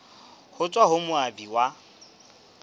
ho tswa ho moabi ya